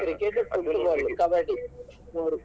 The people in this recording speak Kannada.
Cricket, Football, Kabaddi ಮೂರೂ.